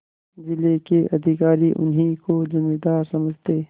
जिले के अधिकारी उन्हीं को जमींदार समझते